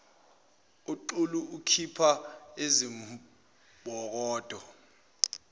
uxulu ukhipha izimbokodo